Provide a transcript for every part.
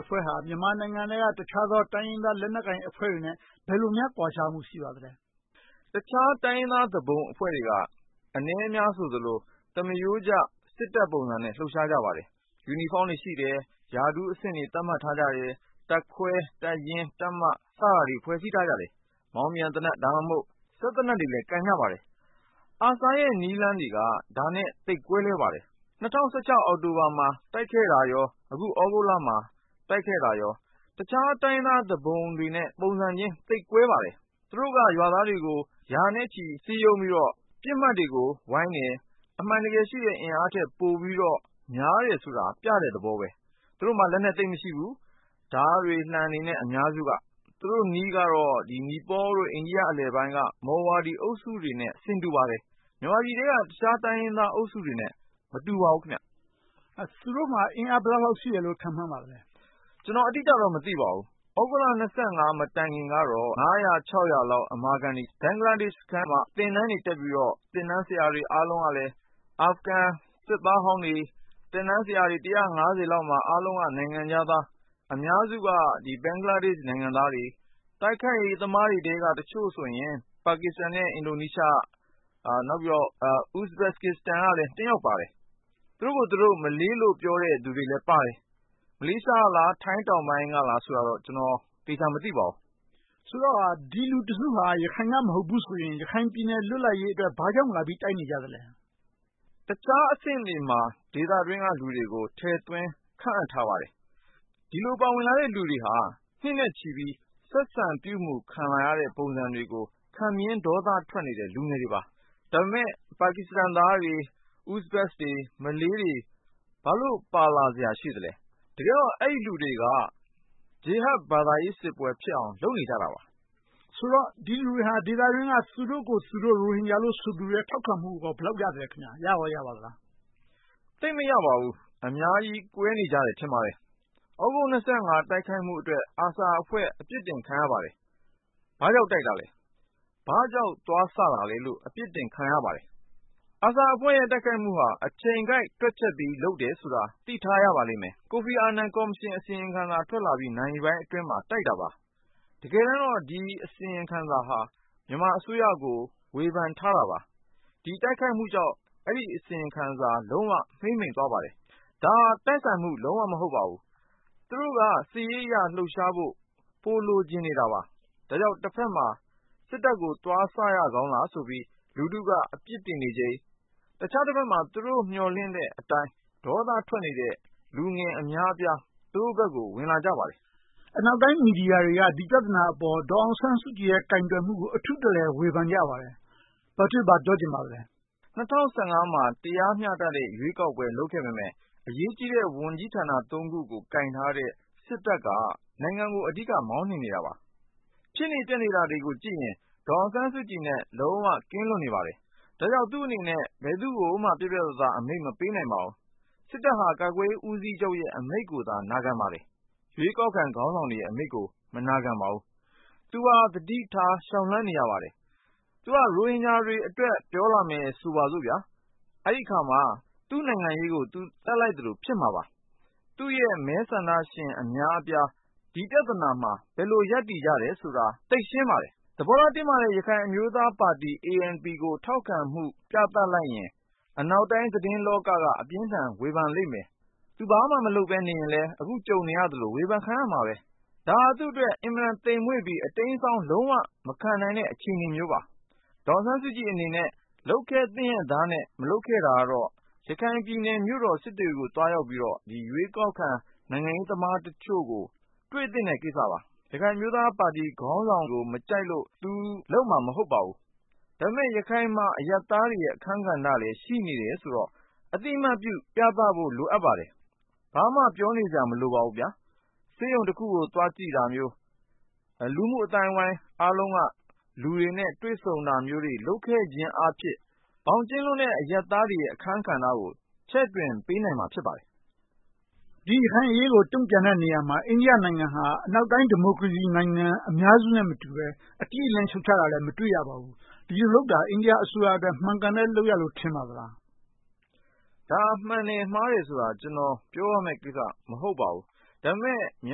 အဖွဲ့ဟာ မြန်မာနိုင်ငံထဲက တခြားသော တိုင်းရင်းသားလက်နက်ကိုင်အဖွဲ့တွေနဲ့ ဘယ်လိုများ ကွာခြားမှု ရှိပါသလဲ။ တခြားတိုင်းရင်းသား သူပုန်အဖွဲ့တွေက အနည်းအများဆိုသလို သမားရိုးကျ စစ်တပ်ပုံစံနဲ့ လှုပ်ရှားကြပါတယ်။ ယူနီဖောင်းတွေရှိတယ်။ ရာထူးအဆင့်တွေ သတ်မှတ်ထားကြတယ်။ တပ်ခွဲ၊ တပ်ရင်း၊ တပ်မ စတာတွေ ဖွဲ့စည်းထားကြတယ်။ မောင်းပြန်သေနတ်၊ စက်သေနတ်တွေလည်း ကိုင်ကြပါတယ်။ ARSA ရဲ့ နည်းလမ်းတွေက ဒါနဲ့ သိပ်ကွဲလွဲပါတယ်။ ၂၀၁၆ အောက်တိုဘာမှာ တိုက်ခိုက်တာနဲ့ အခု သြဂုတ်လမှာ တိုက်ခဲ့တာတွေက တခြားတိုင်းရင်းသား သူပုန်တွေနဲ့ ပုံစံချင်း သိပ်ကွဲပါတယ်။ သူတို့က ရွာသားတွေကို ရာနဲ့ချီ စည်းရုံးပြီးတော့ ပစ်မှတ်တွေကို ဝိုင်းတယ်။ အမှန်တကယ်ရှိတဲ့ အင်အားထက်ပိုပြီးတော့ များတယ်ဆိုတာ ပြတဲ့သဘောပါ။ သူတို့မှာ လက်နက်သိပ်မရှိဘူး။ ဓါးတွေ၊ လံှတွေ အများစုက။ သူတို့နည်းကတော့ နီပေါလ် နဲ့ အိန္ဒိယ အလယ်ပိုင်းက မော်ဝါဒီ အုပ်စုတွေနဲ့ ဆင်တူပါတယ်။ မြန်မာပြည်ထဲက တခြားတိုင်းရင်းသားအုပ်စုတွေနဲ့ မတူပါဘူး။ သူတို့မှာ အင်အား ဘယ်လောက်ရှိမယ်လို့ ခန့်မှန်းပါသလဲ။ ကျနော် အတိအကျတော့ မသိပါဘူး။ သြဂုတ်လ မတိုင်မီကတော့ လောက် အမာခံတွေ၊ ဘင်္ဂလားဒေ့ရှ်ထဲမှာ သင်တန်းတွေ တက်ပြီးတော့ သင်တန်းဆရာတွေအားလုံးကလည်း အာဖဂန်စစ်သားဟောင်းတွေ။ သင်တန်းဆရာတွေ လောက်မှာ အားလုံးက နိုင်ငံခြားသား၊ အများစုက ဘင်္ဂလားဒေ့ရှ် နိုင်ငံသားတွေ၊ တိုက်ခိုက်ရေးသမားတွေထဲက တချို့ဆိုရင် ပါကစ္စတန်နဲ့ အင်ဒိုနီးရှား၊ ဥပ္ပကစ္စတန်ကလည်း တစ်ယောက်ပါတယ်။ သူတို့ကိုယ်သူတို့ မလေးလို ပြောတဲ့သူတွေလည်းပါတယ်။ မလေးရှားကလား၊ ထိုင်းတောင်ပိုင်းကလား ဆိုတာတော့ ကျနော် သေချာမသိပါဘူး။ ဆိုတော့ ဒီလူတစုဟာ ရခိုင်က မဟုတ်ဘူးဆိုရင် ရခိုင်ပြည်နယ် လွတ်လပ်ရေးအတွက် ဘာကြောင့်လာပြီး တိုက်နေကြလဲ။ တခြားအဆင့်တွေမှာ ဒေသတွင်းက လူတွေကို ထည့်သွင်းခန့်အပ်ထားပါတယ်။ ဒီလိုပါဝင်လာတဲ့လူတွေဟာ နှစ်နဲ့ချီပြီး ဆက်ဆံပြုမှုခံလာရတဲ့ ပုံစံတွေကို ခံပြင်းဒေါသထွက်နေတဲ့ လူငယ်တွေပါ။ ဒါပေမဲ့ ပါကစ္စတန်သားတွေ၊ ဥပ္ပကစ္စတန်တွေ၊ မလေးတွေ ဘာလို့ ပါလာစရာရှိလဲ။ တကယ်တော့ အဲဒီလူတွေက ဂျီဟက်ဘာသာရေးစစ်ပွဲဖြစ်အောင် လုပ်နေကြတာပါ။ ဆိုတော့ ဒီလူတွေက ဒေသတွင်းက သူတို့ကိုသူတို့ ရိုဟင်ဂျာဆိုသူတွေရဲ့ ထောက်ခံမှုကော ဘယ်လောက်ရသလဲ။ ရကောရပါသလား။ သိပ်မရပါဘူး။ အများကြီး ကွဲနေကြတယ် ထင်ပါတယ်။ သြဂုတ် တိုက်ခိုက်မှုအတွက် ARSA အဖွဲ့ အပြစ်တင်ခံရပါတယ်။ ဘာကြောင့်တိုက်တာလဲ။ ဘာကြောင့် သွားစတာလဲလို့ အပြစ်တင်ခံရပါတယ်။ ARSA အဖွဲ့ရဲ့ တိုက်ခိုက်မှုဟာ အချိန်ကိုက် တွက်ချက်ပြီးလုပ်တယ်ဆိုတာ သိထားရပါလိမ့်မယ်။ ကိုဖီအာနန်ကော်မရှင် အစီရင်ခံစာထွက်လာပြီး နာရီပိုင်းအတွင်းမှာ တိုက်ခိုက်တာပါ။ တကယ်တမ်းတော့ ဒီအစီရင်ခံစာဟာ မြန်မာအစိုးရကို ဝေဖန်ထားတာပါ။ ဒီတိုက်ခိုက်မှုကြောင့် အဲဒီ အစီရင်ခံစာ လုံးဝမှေးမှိန်းသွားပါတယ်။ ဒါဟာ တိုက်ဆိုင်မှု လုံးဝမဟုတ်ပါဘူး။ သူတို့က စစ်ရေးအရ လှုပ်ရှားဖို့ ပိုလိုချင်နေတာပါ။ ဒါကြောင့် တဘက်မှာ စစ်တပ်ကို သွားစရကောင်းသလားဆိုပြီး လူထုက အပြစ်တင်နေချိန်၊ တခြားတဘက်မှာ မျှော်လင့်တဲ့အတိုင်း ဒေါသထွက်နေတဲ့ လူငယ်အများအပြား သူတို့ဘက်ကို ဝင်လာကြပါတယ်။ အနောက်တိုင်း မီဒီယာတွေက ဒီပြဿနာအပေါ် ဒေါ်အောင်ဆန်းစုကြည်ရဲ့ ကိုင်တွယ်မှုကို အထူးတလည် ဝေဖန်ကြပါတယ်။ ဘာပြောချင်ပါလဲ။ ၂၀၁၅ မှာ တရားမျှတတဲ့ ရွေးကောက်ပွဲ လုပ်ခဲ့ပေမယ့် အရေးကြီးတဲ့ ဝန်ကြီးဌာနကို ကိုင်ထားတဲ့ စစ်တပ်က မောင်းနှင်နေတာပါ။ ဖြစ်နေပျက်နေတာတွေကိုကြည့်ရင် ဒေါ်အောင်ဆန်းစုကြည်နဲ့ လုံးဝကင်းလွတ်နေပါတယ်။ ဒါကြောင့် သူ့အနေနဲ့ ဘယ်သူကိုမှ ပြတ်ပြတ်သားသား အမိန့်မပေးနိုင်ပါဘူး။ စစ်တပ်က ကာကွယ်ရေးဦးစီးချုပ်ရဲ့ အမိန့်ကိုသာ နာခံပါတယ်။ ရွေးကောက်ခံ ခေါင်းဆောင်တွေရဲ့အမိန့်ကို မနာခံပါဘူး။ သူဟာ သတိထား လျှောက်လှမ်းနေရပါတယ်။ သူက ရိုဟင်ဂျာတွေအတွက် ပြောလာမယ် ဆိုပါစို့ - အဲဒီအခါမှာ သူ့နိုင်ငံရေးကို သူ သတ်လိုက်သလို ဖြစ်မှာပါ။ သူ့ရဲ့ မဲဆန္ဒရှင် အများအပြား ဒီပြဿနာမှာ ဘယ်လို ရပ်တည်ကြတယ်ဆိုတာ သိပ်ရှင်းပါတယ်။ သဘောထား တင်းမာတဲ့ ရခိုင်အမျိုးသားပါတီ ANP ကို ထောက်ခံမှု ပြသလိုက်ရင် အနောက်တိုင်း သတင်းလောက က အပြင်းအထန် ဝေဖန်လိမ့်မယ်။ သူဘာမှ မလုပ်ဘဲလုပ်ရင် အခု ကြုံနေရသလို ဝေဖန်ခံရမှာပါ။ ဒါဟာ သူ့အတွက် အင်မတန် သိမ်မွေ့ပြီး အတိမ်အစောင်းမခံနိုင်တဲ့ အခြေအနေမျိုးပါ။ ဒေါ်အောင်ဆန်းစုကြည်အနေနဲ့ လုပ်ခဲ့သင့်ရဲ့သားနဲ့ မလုပ်ခဲ့တာကတော့ ရခိုင်ပြည်နယ်မြို့တော် စစ်တွေကို သွားရောက်ပြီးတော့ ရွေးကောက်ခံ နိုင်ငံရေးသမားတချို့ကို တွေ့သင့်တဲ့ကိစ္စပါ။ ရခိုင်အမျိုးသားပါတီခေါင်းဆောင်ကို မကြိုက်လို့ သူ လုပ်မှာမဟုတ်ပါဘူး။ ဒါပေမဲ့ ရခိုင်မှာ အရပ်သားတွေရဲ့ အခန်းကဏ္ဍလည်း ရှိနေတယ်ဆိုတော့ အသိအမှတ်ပြု ပြသဖို့ လိုအပ်ပါတယ်။ ဘာမှ ပြောနေစရာ မလိုပါဘူး။ ဆေးရုံတခုကို သွားကြည့်တာမျိုး၊ လူမှုအသိုင်းအဝိုင်းအားလုံးက လူတွေနဲ့ တွေ့ဆုံတာမျိုးတွေ လုပ်ခဲ့ခြင်းအားဖြင့် ဘောင်ကျဉ်းလွန်တဲ့ အရပ်သားတွေရဲ့ အခန်းကဏ္ဍကို ချဲ့ထွင်ပေးနိုင်မှာ ဖြစ်ပါတယ်။ ဒီရခိုင်အရေးကို တုံ့ပြန်တဲ့နေရာမှာ အိန္ဒိယနိုင်ငံဟာ အနောက်တိုင်း ဒီမိုကရေစီနိုင်ငံ အများစုနဲ့ မတူပဲ၊ အတိအလင်း ရှုတ်ချတာလည်း မတွေ့ရပါဘူး။ ဒီလိုလုပ်တာ အိန္ဒိယအစိုးရအတွက် မှန်ကန်တဲ့လုပ်ရပ်လို့ ထင်ပါသလား။ ဒါကို မှန်တယ်မှားတယ်ဆိုတာ ကျနော် ပြောရမယ့်ကိစ္စ မဟုတ်ပါဘူး။ ဒါပေမဲ့ မြ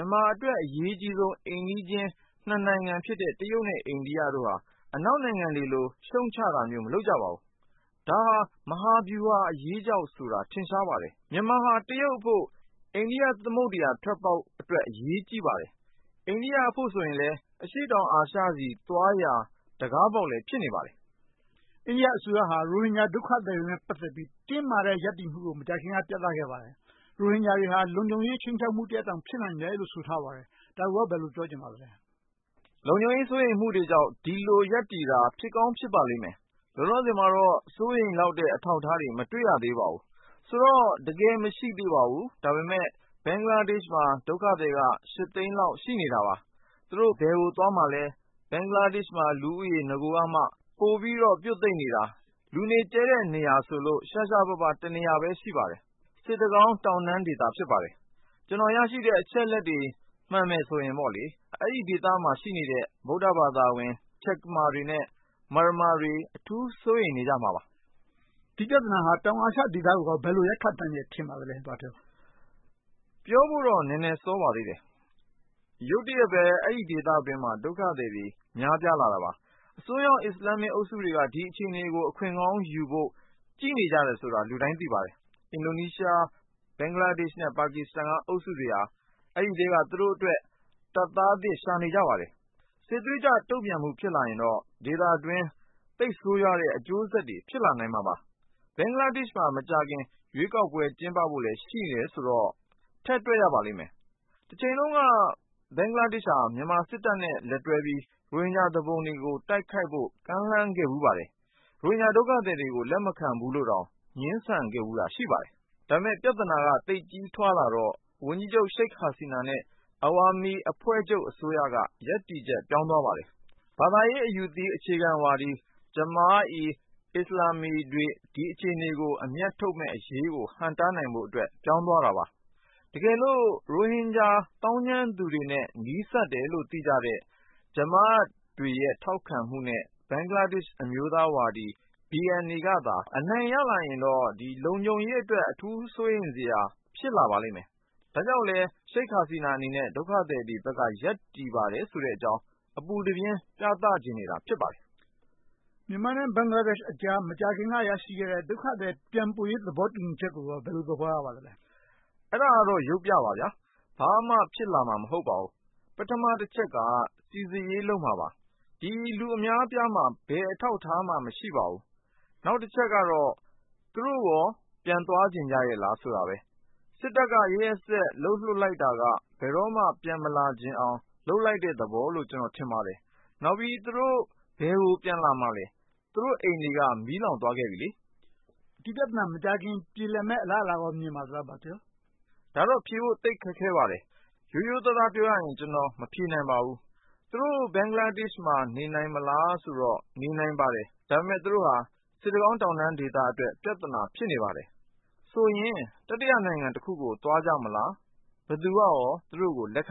န်မာအတွက် အရေးကြီးဆုံး အိမ်နီးနားချင်း နှစ်နိုင်ငံဖြစ်တဲ့ တရုတ် နဲ့ အိန္ဒိယတို့က အနောက်နိုင်ငံတွေလို ရှုတ်ချတာမျိုး မလုပ်ကြပါဘူး။ ဒါဟာ မဟာဗျူဟာအရေးကြောင့်ဆိုတာ ထင်ရှားပါတယ်။ မြန်မာဟာ တရုတ်အဖို့ အိန္ဒိယသမုဒ္ဒရာထွက်ပေါက်အတွက် အရေးကြီးပါတယ်။ အိန္ဒိယအတွက်လည်း အရှေ့တောင်အာရှဆီသွားရာ တံခါးပေါက်လည်း ဖြစ်နေပါတယ်။ အိန္ဒိယအစိုးရဟာ ရိုဟင်ဂျာဒုက္ခသည်နဲ့ ပတ်သက်ပြီး တင်းမာတဲ့ ရပ်တည်မှုကို မကြာသေးခင်က ပြသခဲ့ပါတယ်။ ရိုဟင်ဂျာတွေဟာ လုံခြုံရေးခြိမ်းခြောက်မှုတရပ်လိုတောင် ဖြစ်နိုင်တယ်လို့ ဆိုထားပါတယ်။ ဒါကို ဘယ်လိုပြောချင်ပါလဲ။ လုံခြုံရေး စိုးရိမ်မှုတွေကြောင့် ဒီလို ရပ်တည်တာ ဖြစ်ကောင်းဖြစ်ပါလိမ့်မယ်။ လောလောဆယ်မှာတော့ စိုးရိမ်လောက်တဲ့ အထောက်အထားတွေ မတွေ့ရသေးပါဘူး။ ဆိုတော့ တကယ်မရှိသေးပါဘူး။ ဒါပေမဲ့ ဘင်္ဂလားဒေ့ရှ်မှာက ဒုက္ခသည်က ရှစ်သိန်းလောက် ရှိနေတာပါ။ သူတို့ ဘယ်ကိုသွားမှာလဲ။ ဘင်္ဂလားဒေ့ရှ်မှာ လူဦးရေက နဂိုကတည်းက ပိုပြီးတော့ ပြွတ်သိပ်နေတာ လူနေကျဲတဲ့နေရာဆိုလို့ ရှားရှားပါးပါး တနေရာပဲ ရှိပါတယ်။ စစ်တကောင်းတောင်တန်းဒေသ ဖြစ်ပါတယ်။ ကျနော် ရရှိတဲ့ အချက်အလက်တွေ မှန်တယ်ဆိုရင်တော့ အဲဒီဒေသမှာရှိတဲ့ ဗုဒ္ဓဘာသာဝင် ချက်ကမာတွေနဲ့ မာရမာတွေ အထူးစိုးရိမ်နေကြမှာပါ။ ဒီပြဿနာဟာ တောင်အာရှဒေသကို ဘယ်လို ရိုက်ခတ်နိုင်မယ် ထင်ပါလဲ။ ပြောဖို့တော့ နည်းနည်းစောပါသေးတယ်။ ရုတ်တရက်ပဲ အဲဒီဒေသတွင်းမှာ ဒုက္ခသည်တွေ များပြားလာတာပါ။ အစွန်းရောက် အစ္စလာမ်မစ် အုပ်စုတွေက ဒီအခြေအနေကို အခွင့်ကောင်းယူဖို့ ကြည့်နေကြတယ်ဆိုတာ လူတိုင်းသိပါတယ်။ အင်ဒိုနီးရှား၊ ဘင်္ဂလားဒေ့ရှ် နဲ့ ပါကစ္စတန် အုပ်စုတွေက အဲဒီအထဲက သူတို့အတွက် တပ်သားသစ် ရှာနေကြပါတယ်။ စစ်သွေးကြွ တုံ့ပြန်မှု ဖြစ်လာရင်တော့ ဒေသအတွင်း သိပ်ဆိုးဝါးတဲ့ အကျိုးဆက်တွေ ဖြစ်လာမှာပါ။ ဘင်္ဂလားဒေ့ရှ်မှာ မကြာခင် ရွေးကောက်ပွဲ ကျင်းပဖို့လည်း ရှိတယ်ဆိုတော့ ထည့်တွက်ရပါလိမ့်မယ်။ တချိန်တုန်းက ဘင်္ဂလားဒေ့ရှ်ဟာ မြန်မာစစ်တပ်နဲ့ လက်တွဲပြီး ရိုဟင်ဂျာသူပုန်တွေကို တိုက်ခိုက်ဖို့ ကမ်းလှမ်းခဲ့ဖူးပါတယ်။ ရိုဟင်ဂျာဒုက္ခသည်တွေကို လက်မခံဘူးလိုတောင် ငြင်းဆန်ခဲ့ဖူးတာ ရှိပါတယ်။ ဒါပေမဲ့ ပြဿနာက သိပ်ကြီးထွားလာတော့ ဝန်ကြီးချုပ် ရှိတ်ဟာဆီနာနဲ့ အဝါမီအဖွဲ့ချုပ်အစိုးရက ရပ်တည်ချက် ပြောင်းသွားခဲ့ပါတယ်။ ဘာသာရေး အယူသီးအခြေခံဝါဒီ ဂျာမာအိ အစ္စလာမ်မေတွေ ဒီအခြေအနေကို အမြတ်ထုတ်မယ့်အရေးကို ဟန့်တားနိုင်ဖို့အတွက် ပြောင်းသွားတာပါ။ တကယ်လို့ ရိုဟင်ဂျာ သောင်းကျန်းသူတွေနဲ့ နီးစပ်တယ်လို့ သိကြတဲ့ ဂျာမာတွေရဲ့ ထောက်ခံမှုနဲ့ ဘင်္ဂလားဒေ့ရှ် အမျိုးသားဝါဒီ BNA ကသာ အနိုင်ရလာရင်တော့ လုံခြုံရေးအတွက် အထူးစိုးရိမ်စရာ ဖြစ်လာပါလိမ့်မယ်။ ဒါကြောင့်လဲ ရှိတ်ဟာဆီနာအနေနဲ့ ဒုက္ခသည်တွေဘက်က ရပ်တည်ပါတယ်ဆိုတဲ့အကြောင်း အပူတပြင်း ပြသချင်နေတာ ဖြစ်ပါတယ်။ မြန်မာနဲ့ ဘင်္ဂလားဒေ့ရှ်ကြား မကြာခင်က ရရှိခဲ့တဲ့ ဒုက္ခသည် ပြန်ပို့ရေး သဘောတူညီချက်ကို ဘယ်လို သဘောရပါသလဲ။ အဲဒါကတော့ ရုပ်ပြပါ။ ဘာမှဖြစ်လာမှာ မဟုတ်ပါဘူး။ ပထမတချက်က စီစစ်ရေး လုပ်မှာပါ။ ဒီလူအများအပြားမှာ ဘယ်အထောက်အထားမှ မရှိပါဘူး။ နောက်တချက်ကတော့ သူတို့ကော ပြန်သွားချင်ကြရဲ့လားဆိုတာပါ။ စစ်တပ်က ရက်ရက်စက်စက် လုပ်လွှတ်လိုက်တာက ဘယ်တော့မှ ပြန်မလာချင်အောင် လုပ်လိုက်တဲ့သဘောလို့ ကျနော် ထင်ပါတယ်။ နောက်ပြီး သူတို့ ဘယ်ကို ပြန်လာမှာလဲ။ သူတို့အိမ်တွေက မီးလောင်သွားခဲ့ပြီလေ။ ဒီပြဿနာ မကြာခင် ပြေလည်မယ့် အလားအလာကော မြင်ပါသလား။ ဒါတောင် ဖြေဖို့သိပ်ခက်ခဲပါတယ်။ ရိုးရိုးသားသား ပြောရရင် ကျနော် မဖြေနိုင်ပါဘူး။ သူတို့ ဘင်္ဂလားဒေ့ရှ်မှာ နေနိုင်မလားဆိုတော့ နေနိုင်ပါတယ်။ ဒါပေမဲ့ သူတို့ဟာ စစ်တကောင်းတောင်တန်းဒေသအတွက် ပြဿနာ ဖြစ်နေပါတယ်။ ဆိုရင် တတိယနိုင်ငံတခုကို သွားကြမလား။ ဘယ်သူက သူတို့ကို လက်ခံ